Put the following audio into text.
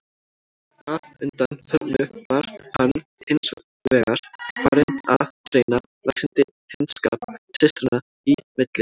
Að undanförnu var hann hins vegar farinn að greina vaxandi fjandskap systranna í milli.